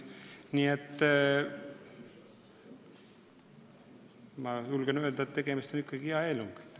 Nii et ma julgen öelda, et tegemist on ikkagi hea eelnõuga.